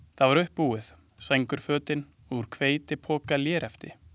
Það var uppbúið, sængurfötin úr hveitipokalérefti.